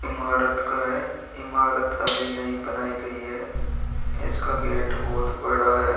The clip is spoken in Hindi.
ईमारत का है। ईमारत अभी नई बनाई गई है। इसका गेट बोहोत बड़ा है।